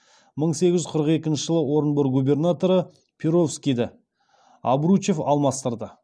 мың сегіз жүз қырық екінші жылы орынбор губернаторы перовскийді обручев алмастырды